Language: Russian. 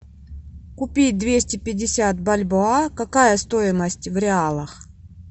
купить двести пятьдесят бальбоа какая стоимость в реалах